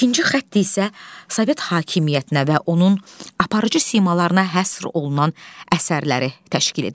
İkinci xətt isə Sovet hakimiyyətinə və onun aparıcı simalarına həsr olunan əsərləri təşkil edir.